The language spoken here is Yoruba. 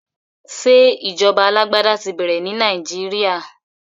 Ṣé ìjọba alágbádá ti bẹ̀rẹ̀ ní Nàìjíríà?